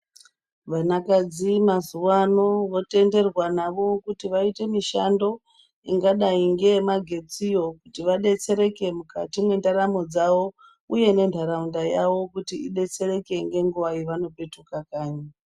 Vanakadzi mazuva ano votenderwa navo kuti vaite mishando ingadai ngemagetsi yo kuti kuvadetsereke mukati mwendaramo dzawo uye nenharaunda yavo kuti idetseredeke nenguva yavano petuke kanyi.